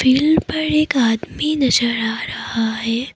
Field पर एक आदमी नजर आ रहा है।